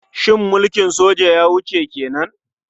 Shin mulkin soja ya wuce ke nan?